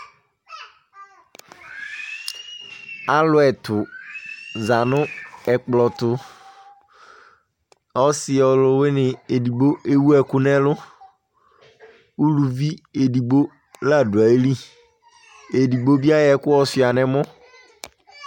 Alu ɛtu za nu ɛkplɔ tu Ɔsi ɔluwini edigbo ewu ɛku nu ɛlu Uluvi edigbo ladu ayili Edigbo bi ayɔ ɛku yɔsuia nu ɛmɔ